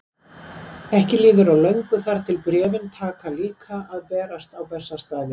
Ekki líður á löngu þar til bréfin taka líka að berast á Bessastaði.